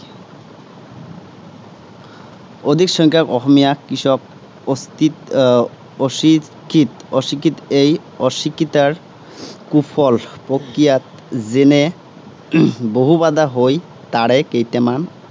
অধিক সংখ্যক অসমীয়া কৃষক অশিক্ষিত। আহ অশিক্ষিত। এই অশিক্ষাৰ কুফল প্ৰতিফলিত যেনে বহু বাধা হৈ। তাৰে কেইটামান